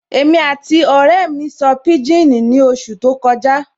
Èmi àti ọ̀rẹ́ sọ pijini ní oṣù tí ó kọjá